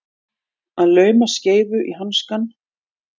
Að lauma skeifu í hanskann